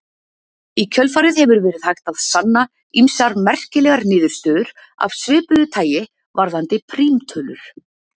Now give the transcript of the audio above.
Í kjölfarið hefur verið hægt að sanna ýmsar merkilegar niðurstöður af svipuðu tagi varðandi prímtölur.